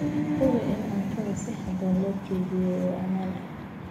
Hubi in cuntada si habboon loo kaydiyay oo ammaan ah.